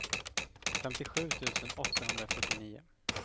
femtiosju tusen åttahundrafyrtionio